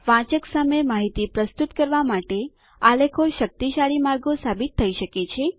વાંચક સામે માહિતી પ્રસ્તુત કરવા માટે આલેખો શક્તિશાળી માર્ગો સાબિત થઇ શકે છે